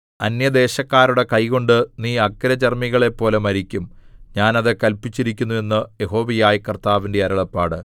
അന്യദേശക്കാരുടെ കൈകൊണ്ട് നീ അഗ്രചർമ്മികളെപ്പോലെ മരിക്കും ഞാൻ അത് കല്പിച്ചിരിക്കുന്നു എന്ന് യഹോവയായ കർത്താവിന്റെ അരുളപ്പാട്